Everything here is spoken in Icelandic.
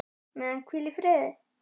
Megi hann hvíla í friði.